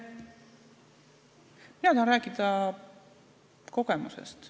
Mina tahan rääkida kogemusest.